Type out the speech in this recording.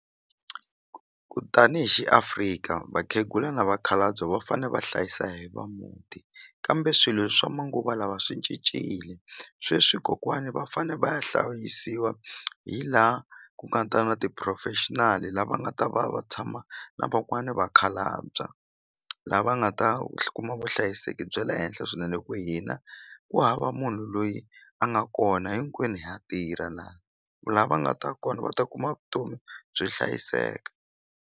Ku tanihi xi Africa vakhegula na vakhalabye va fane va hlayisa hi va muti kambe swilo swa manguva lawa swi cincile sweswi kokwani va fanele va ya hlayisiwa hi laha ku kata na ti-professional lava nga ta va va tshama na van'wani vakhalabya lava nga ta kuma vuhlayiseki bya le henhla swinene ku hina ku hava munhu loyi a nga kona hinkwenu ha tirha lava nga ta kona va ta kuma vutomi byo hlayiseka.